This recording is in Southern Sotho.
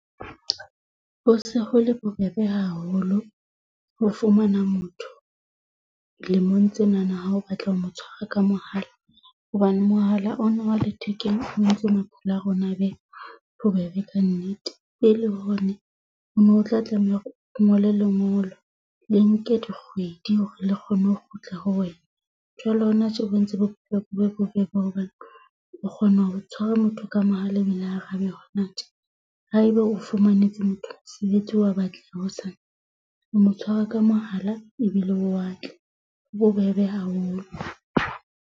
Ho se ho le bobebe haholo ho fumana motho lemong tsenana ha o batla ho mo tshwara ka mohala. Hobane mohala ona wa lethekeng o entse maphelo a rona a be bobebe kannete, pele ho ne o no tla tlameha hore o ngole lengolo le nke dikgwedi hore le kgone ho kgutla ho wena. Jwale hona tje bo entse bophelo bo be bobebe hobane o kgona ho tshwara motho ka mohala ebile a arabe hona tje. Haebe o fumanetse motho mosebetsi wa batliwa hosane. O mo tshware ka mohala ebile o a tla ho bobebe haholo.